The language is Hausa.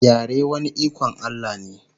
yare wani iKon Allah ne